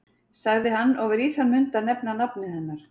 sagði hann og var í þann mund að nefna nafnið hennar.